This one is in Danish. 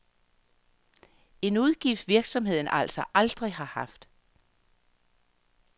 En udgift virksomheden altså aldrig har haft.